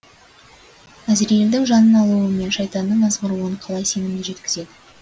әзірейілдің жанын алуы мен шайтанның азғыруын қалай сенімді жеткізеді